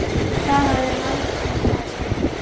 Hvað hafði Halldór um það að segja?